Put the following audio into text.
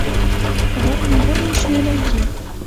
коварные горничные найти